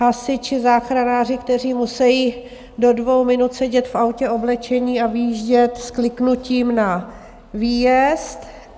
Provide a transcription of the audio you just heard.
Hasiči, záchranáři, kteří musejí do dvou minut sedět v autě oblečení a vyjíždět s kliknutím na výjezd.